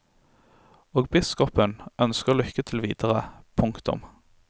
Og biskopen ønsker lykke til videre. punktum